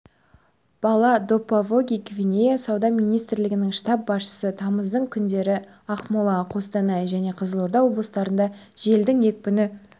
бала допавоги гвинея сауда министрлігінің штаб басшысы тамыздың күндері ақмола қостанай және қызылорда облыстарында желдің екпіні